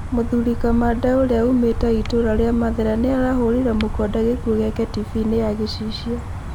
Mũthuri kamande ũrĩa umĩte itũra rĩa mathĩra nĩarahũrire mũkonde gĩkuũ gĩake tibiinĩ ya gĩcicio